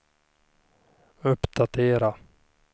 uppdatera